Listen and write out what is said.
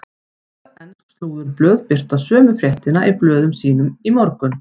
Tvö ensk slúðurblöð birta sömu fréttina í blöðum sínum í morgun.